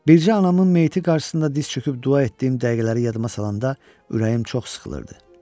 Bircə anamın meyti qarşısında diz çöküb dua etdiyim dəqiqələri yadıma salanda ürəyim çox sıxılırdı.